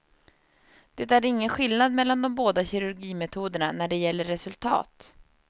Det är ingen skillnad mellan de båda kirurgimetoderna när det gäller resultat.